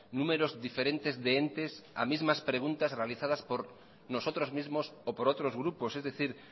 números diferentes de entes a mismas preguntas realizadas por nosotros mismos o por otros grupos es decir